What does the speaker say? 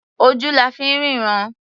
Ojú la fi ń ríran.